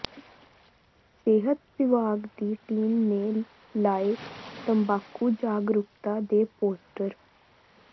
ਸਿਹਤ ਵਿਭਾਗ ਦੀ ਟੀਮ ਨੇ ਲਾਏ ਤੰਬਾਕੂ ਜਾਗਰੂਕਤਾ ਦੇ ਪੋਸਟਰ